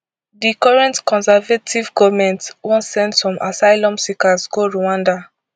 di current conservative goment wan send some asylum seekers go rwanda